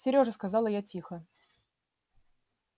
серёжа сказала я тихо